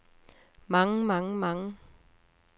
mange mange mange